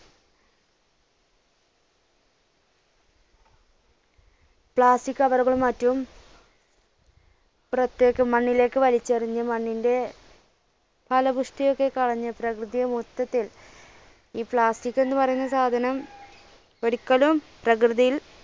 plastic cover കൾ മറ്റും പുറത്തേക്ക് മണ്ണിലേക്ക് വലിച്ചെറിഞ്ഞ് മണ്ണിന്റെ ഫലഭുഷ്ടിയൊക്കെ കളഞ്ഞ് പ്രകൃതിയെ മൊത്തത്തിൽ ഈ plastic എന്ന് പറയുന്ന സാധനം ഒരിക്കലും പ്രകൃതിയിൽ